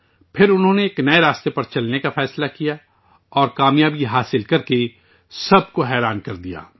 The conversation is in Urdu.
پھر انھوں نے ایک نئے راستے پر چلنے کا فیصلہ کیا اور کام یابی حاصل کرکے سب کو حیران کردیا